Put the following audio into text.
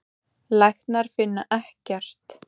Læknar finna ekkert.